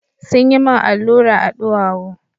Sun yi min allura a duwawu.